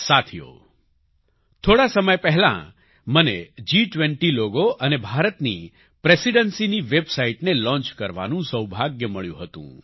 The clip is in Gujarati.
સાથીઓ થોડા સમય પહેલાં જ મને જી20 લોગો અને ભારતની Presidencyની વેબસાઈટને લોન્ચ કરવાનું સૌભાગ્ય મળ્યું હતું